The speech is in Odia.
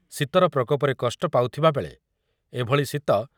ଶୀତର ପ୍ରକୋପରେ କଷ୍ଟ ପାଉଥିବାବେଳେ ଏଭଳି ଶୀତ